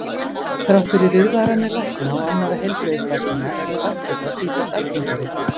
Þrátt fyrir viðvaranir lækna og annarra heilbrigðisstarfsmanna verður offita sífellt algengari.